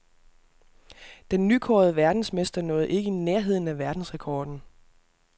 Den nykårede verdensmester nåede ikke nærheden af verdensrekorden.